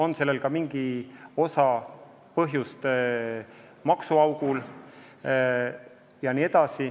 Nii tekibki meie maksuauk.